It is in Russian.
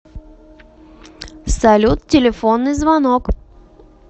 салют телефонный звонок